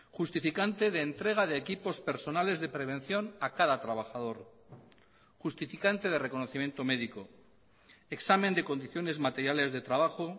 justificante de entrega de equipos personales de prevención a cada trabajador justificante de reconocimiento médico examen de condiciones materiales de trabajo